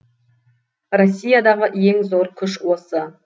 россиядағы ең зор күш осы